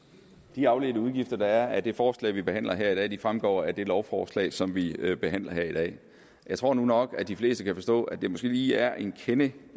de afledte udgifter der er af det forslag vi behandler her i dag fremgår af det lovforslag som vi behandler her i dag jeg tror nu nok at de fleste kan forstå at det måske lige er en kende